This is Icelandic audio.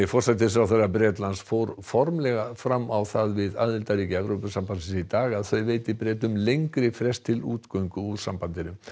forsætisráðherra Bretlands fór formlega fram á það við aðildarríki Evrópusambandsins í dag að þau veiti Bretum lengri frest til útgöngu úr sambandinu